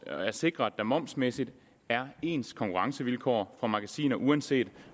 er at sikre at der momsmæssigt er ens konkurrencevilkår for magasiner uanset